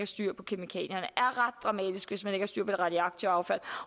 styr på kemikalierne og hvis man ikke har det radioaktive affald